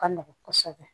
Ka nɔgɔn kosɛbɛ